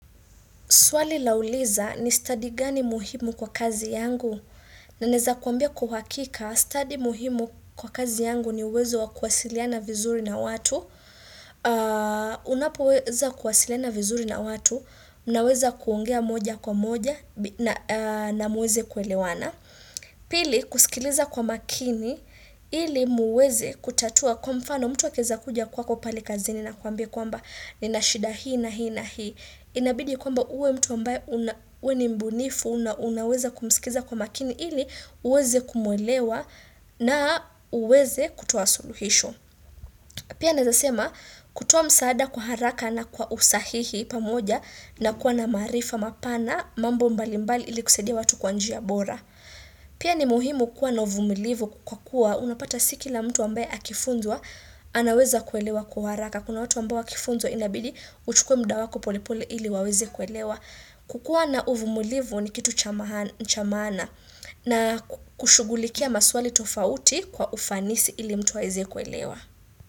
Swali lauliza ni study gani muhimu kwa kazi yangu. Naweza kuambia kwa uhakika study muhimu kwa kazi yangu ni uwezo wa kuwasiliana vizuri na watu. Unapeweza kuwasiliana vizuri na watu. Unaweza kuongea moja kwa moja na muweze kuelewana. Pili kusikiliza kwa makini ili muweze kutatua kwa mfano mtu akiweza kuja kwako pale kazini na akuambie kwamba nina shida hii na hii na hii. Inabidi kwamba uwe mtu ambaye uwe ni mbunifu na unaweza kumsikiza kwa makini ili uweze kumwelewa na uweze kutoa suluhisho. Pia naeza sema kutoa msaada kwa haraka na kwa usahihi pamoja na kuwa na maarifa mapana mambo mbali mbali ili kusaidia watu kwa njia bora. Pia ni muhimu kuwa na uvumilivu kwa kuwa unapata si kila mtu ambae akifunzwa anaweza kuelewa kwa haraka. Kuna watu ambao wakifunzwa inabidi uchukue muda wako pole pole ili waweze kuelewa kukua na uvumulivu ni kitu cha maana na kushugulikia maswali tofauti kwa ufanisi ili mtu aweze kuelewa.